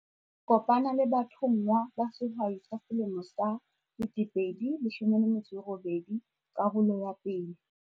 Kopana le bathonngwa ba Sehwai sa Selemo sa 2018, karolo ya 1.